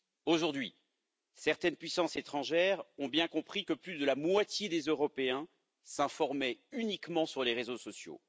Aujourd'hui, certaines puissances étrangères ont bien compris que plus de la moitié des Européens s'informaient uniquement sur les réseaux sociaux.